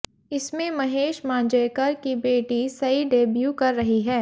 इसमें महेश मांजरेकर की बेटी सई डेब्यू कर रही हैं